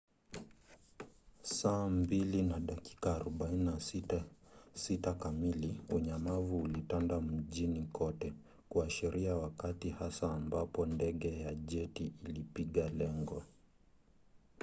saa 8:46 kamili unyamavu ulitanda mjini kote kuashiria wakati hasa ambapo ndege ya jeti ilipiga lengo